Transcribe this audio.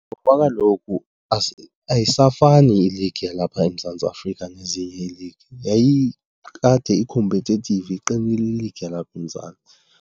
Ngoba kaloku ayisafani iligi yalapha eMzantsi Afrika nezinye ii-league. Yayikade i-competative iqinile i-league yalapha eMzantsi.